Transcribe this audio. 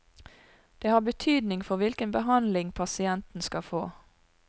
Det har betydning for hvilken behandling pasienten skal få.